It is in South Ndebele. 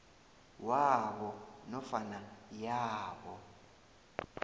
wabo nofana yabo